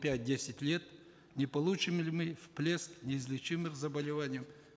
пять десять лет не получим ли мы всплеск неизлечимых заболеваний